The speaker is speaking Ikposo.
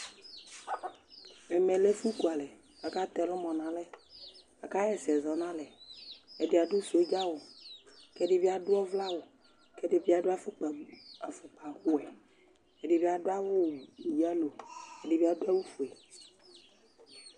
Ɛmɛ lɛ ɛfʋkualɛ kʋ akatɛ ɛlʋmɔ nʋ alɛ Akaɣa ɛsɛ zɔ nʋ alɛ Ɛdɩ adʋ sɔdza awʋ kʋ ɛdɩ bɩ adʋ ɔvlɛ awʋ kʋ ɛdɩ bɩ adʋ afʋkpa afʋkpawɛ Ɛdɩ bɩ adʋ awʋ yalo Ɛdɩ bɩ adʋ awʋfue